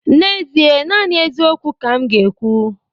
N'ezie, naanị eziokwu ka m ga-ekwu